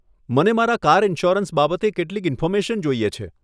મને મારા car insurance બાબતે કેટલીક ઇન્ફોર્મેશન જોઈએ છે.